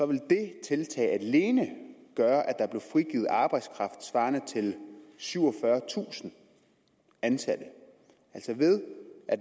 ville det tiltag alene gøre at der blev frigivet arbejdskraft svarende til syvogfyrretusind ansatte